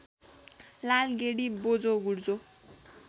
लालगेडी बोझो गुर्जो